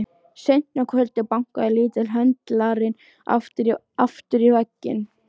Seint um kvöldið bankaði litli höndlarinn aftur í vegginn.